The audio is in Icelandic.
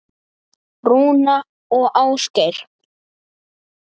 Rúna og Ásgeir.